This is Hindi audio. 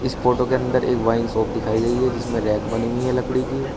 इस फोटो के अंदर एक वाइन शॉप दिखाई गई है जिसमें रैक बनी हुई है लकड़ी की।